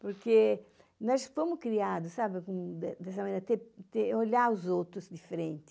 Porque nós fomos criados, sabe, com, de dessa maneira, ter ter, olhar os outros de frente.